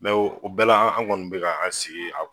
o bɛɛ la an gɔni bɛ ka an sigi a